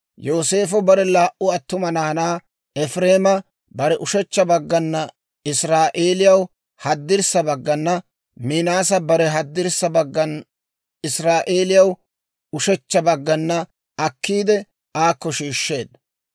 Yooseefo bare laa"u attuma naanaa, Efireema bare ushechcha baggan Israa'eeliyaw haddirssa baggana, Minaasa bare haddirssa baggan Israa'eeliyaw ushechcha baggana akkiide, aakko shiishsheedda.